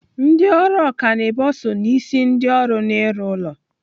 Ndị ọrụ ọkanibo so n'isi ndị ọrụ n'ịrụ ụlọ.